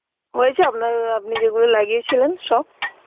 হয়েছে আপনার আপনি যেগুলো লাগিয়েছিলেন সব?